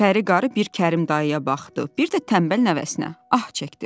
Pəri qarı bir Kərim dayıya baxdı, bir də tənbəl nəvəsinə, ah çəkdi.